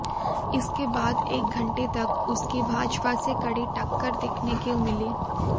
इसके बाद एक घंटे तक उसकी भाजपा से कड़ी टक्कर देखने को मिली